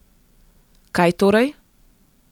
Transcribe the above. Kaj torej?